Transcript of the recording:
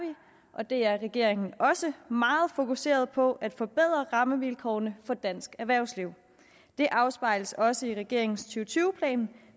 og det er regeringen også meget fokuserede på at forbedre rammevilkårene for dansk erhvervsliv det afspejles også i regeringens to tusind og tyve plan